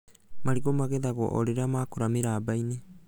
Marigũ magethagwo o rĩrĩa makũra mĩramba-inĩ